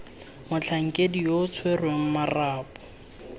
motlhankedi yo o tshwereng marapo